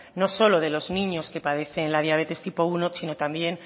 no solo de los niños que padecen la diabetes tipo primero sino también